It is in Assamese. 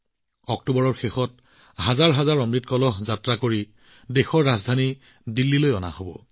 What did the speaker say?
অক্টোবৰৰ শেষৰ ফালে অমৃত কলহ যাত্ৰাৰ জৰিয়তে হাজাৰ হাজাৰ লোকে দেশৰ ৰাজধানী দিল্লীত উপস্থিত হব